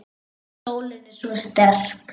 Sólin er svo sterk.